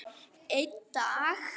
Einn dag!